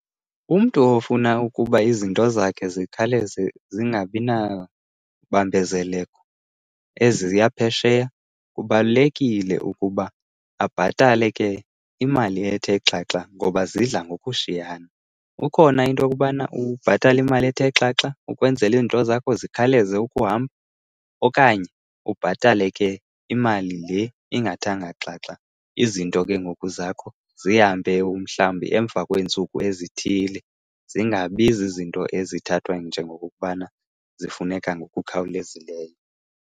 Umntu ofuna ukuba izinto zakhe zikhawuleze zingabi nabambezeleko eziya phesheya, kubalulekile ukuba abhatale ke imali ethe xhaxha ngoba zidla ngokushiyana. Kukhona into yokubana ubhatale imali ethe xhaxha ukwenzela izinto zakho zikhawuleze ukuhamba. Okanye ubhatale ke imali le ingathanga xhaxha, izinto ke ngoku zakho zihambe umhlawumbi emva kweentsuku ezithile zingabi zizinto ezithathwa njengokubana zifuneka ngokukhawulezileyo.